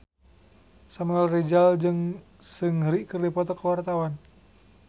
Samuel Rizal jeung Seungri keur dipoto ku wartawan